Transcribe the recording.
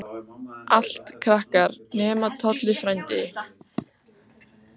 Allt krakkar, nema Tolli frændi, sem kom hoppandi á hækjunum.